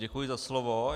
Děkuji za slovo.